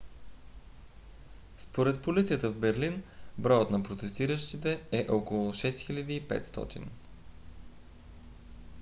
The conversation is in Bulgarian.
според полицията в берлин броят на протестиращите е около 6500